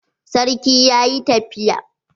Sarki ya yi tafiya.